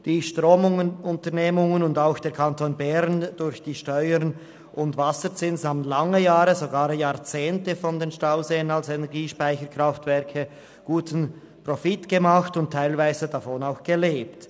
Die Stromunternehmungen und auch der Kanton Bern via Steuern und Wasserzins haben lange Jahre, sogar Jahrzehnte mit den Stauseen als Energiespeicherkraftwerke guten Profit gemacht und teilweise auch davon gelebt.